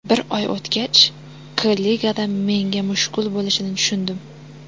Bir oy o‘tgach, K-ligada menga mushkul bo‘lishini tushundim.